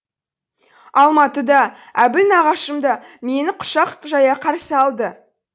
алматы да әбіл нағашым да мені құшақ жая қарсы алды